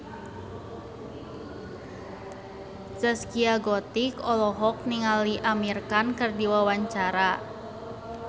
Zaskia Gotik olohok ningali Amir Khan keur diwawancara